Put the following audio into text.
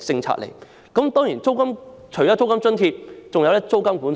除了租金津貼之外，當地亦設有租金管制。